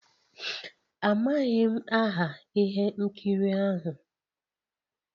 Amaghị m aha ihe nkiri ahụ.